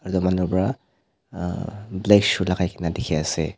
etu manu bra black shoe lagaikena dikhi ase.